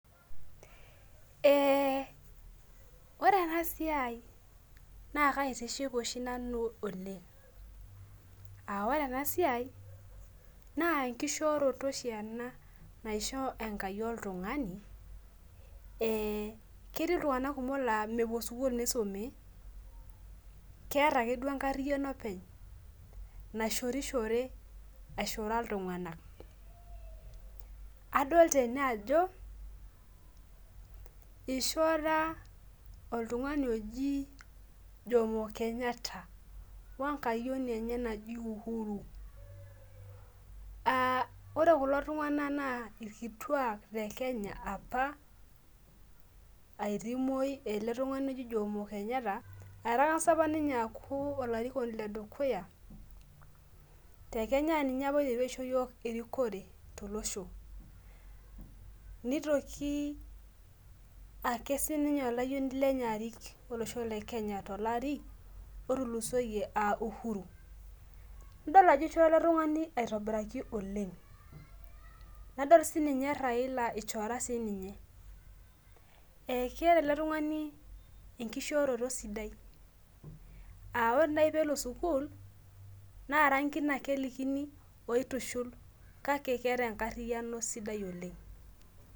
ore ena siai naa kaitiship oshi nanu oleng' aa ore ena siai naa enkishooroto oshi naisho enkai oltung'ani , ketii iltung'anak kumok laa mepuo sukul misumi keeta akeduu enkariyiano openy naishorishore, aishora iltung'anak adoolta ene ajo , ishora oltung'ani oji jomo Kenyatta wengayioni enye naji uhuru ore kulo tung'anak naa ilkituak lekenya apa, etii ele tung'ani oji jomo Kenyatta etang'asa apa ninye aku olarikoni le kenya ninye apa oiterua aisho iyiok erikore tolosho , nitoki ake sii ninye olayioni lenye arik tolari otulusoyie aa uhuru, nidol ajo ishora ele tung'aani aitobiraki oleng, nadol sii ninye Raila ishora sii ninye, keeta ele tung'ani enkushooroto sidai aawore naaji pee elo sukul naa irangin ake isumi oitushul.